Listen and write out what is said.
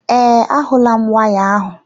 Ee, ahulam waya ahụ.